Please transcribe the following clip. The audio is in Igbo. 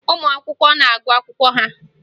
Ụmụ akwụkwọ na-agụ akwụkwọ ha